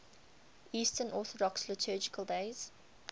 eastern orthodox liturgical days